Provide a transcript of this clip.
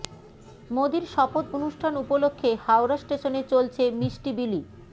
মোদির শপথ অনুষ্ঠান উপলক্ষ্যে হাওড়া স্টেশনে চলছে মিষ্টি বিলি